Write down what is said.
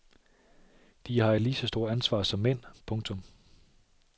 De har et lige så stort ansvar som mænd. punktum